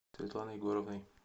светланой егоровной